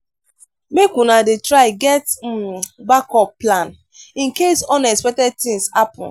make una dey try get um back-up plan incase unexpected tins happen.